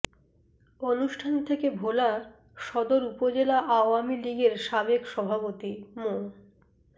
অনুষ্ঠান থেকে ভোলা সদর উপজেলা আওয়ামী লীগের সাবেক সভাপতি মো